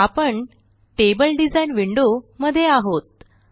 आपण table design window मध्ये आहोत